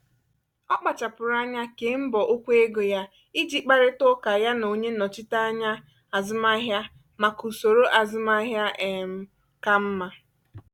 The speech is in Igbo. ọ kpáchapụrụ anya kèé mbọ okwu ego ya iji kparitaa ụka ya na onye nnọchiteanya azụmahịa maka usoro azụmahịa um kà mma.